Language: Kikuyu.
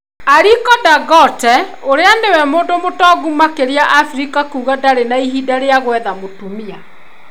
Aliko Dangote ũrĩa nĩwe mũndũ mũtongu makĩria Afrika kuga ndarĩ na mahinda ma gwetha mũtumia.